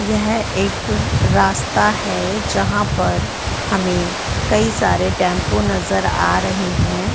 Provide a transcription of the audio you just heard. यह एक रास्ता है जहाँ पर हमे कई सारे टेम्पू नज़र आ रहे है।